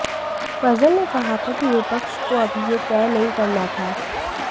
फजल ने कहा था कि विपक्ष को अभी यह तय नहीं करना था